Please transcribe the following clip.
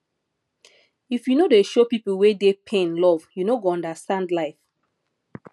if you no dey show pipu wey dey pain love you no go understand life